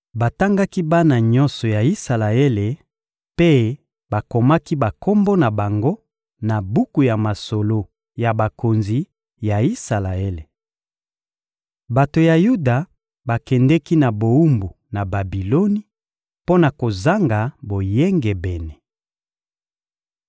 Batangaki bana nyonso ya Isalaele mpe bakomaki bakombo na bango na buku ya masolo ya bakonzi ya Isalaele. Bato ya Yuda bakendeki na bowumbu na Babiloni mpo na kozanga boyengebene.